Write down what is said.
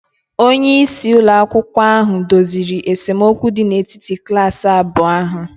onyeisi ụlọ akwụkwọ ahụ doziri esemokwu dị n'etiti klaasị abụọ ahụ